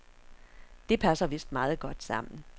Det passer vist meget godt sammen.